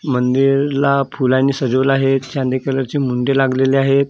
मंदिरला फुलांनी सजवलं आहे चंदे कलरची मुंडे लागलेली आहेत तिथं एक.